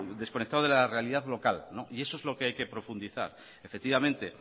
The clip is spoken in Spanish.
desconectado de la realidad local y eso es lo que hay que profundizar efectivamente